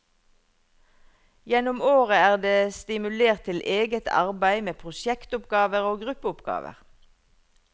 Gjennom året er det stimulert til eget arbeid med prosjektoppgaver og gruppeoppgaver.